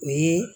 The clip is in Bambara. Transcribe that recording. Ni